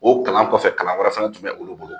O kalan kɔfɛ kalan wɛrɛ fana tun bɛ olu bolo.